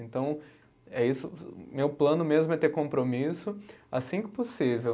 Então, é isso, meu plano mesmo é ter compromisso assim que possível.